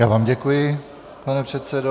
Já vám děkuji, pane předsedo.